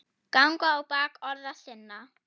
ganga á bak orða sinna